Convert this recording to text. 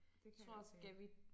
Det kan jeg godt se